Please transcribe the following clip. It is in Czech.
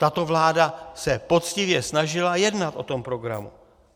Tato vláda se poctivě snažila jednat o tom programu.